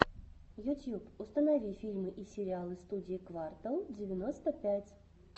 ютьюб установи фильмы и сериалы студии квартал девяносто пять